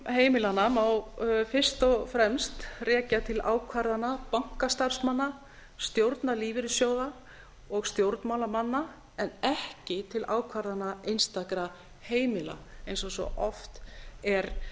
heimilanna má fyrst og fremst rekja til ákvarðana bankastarfsmanna stjórna lífeyrissjóða og stjórnmálamanna en ekki til ákvarðana einstakra heimila eins og svo oft er